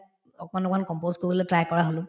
অকমান অকমান compose কৰিবলৈ try কৰা হলো